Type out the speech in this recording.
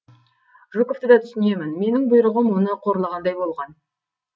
жуковты да түсінемін менің бұйрығым оны қорлағандай болған